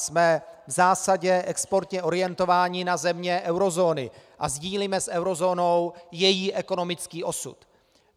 Jsme v zásadě exportně orientovaní na země eurozóny a sdílíme s eurozónou její ekonomický osud.